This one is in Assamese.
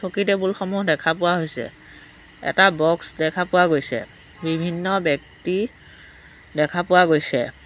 চকী-টেবুল সমূহ দেখা পোৱা হৈছে এটা বক্স দেখা পোৱা গৈছে বিভিন্ন ব্যক্তি দেখা পোৱা গৈছে।